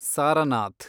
Sarnath